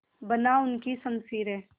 बना उनकी शमशीरें